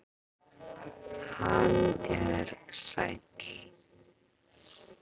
Hann er sæll.